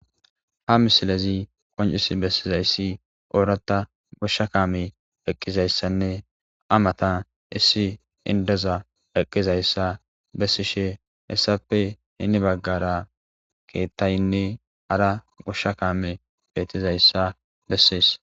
Ha misilezi qonccissi bessizayssi oratha gosha kamey eqqidayssanne he mattan issi inddoya eqqizayssa bessishe hessape heni bagara keththaynne hara gosha kamey bettizayssa qonccisses.